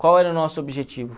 Qual era o nosso objetivo?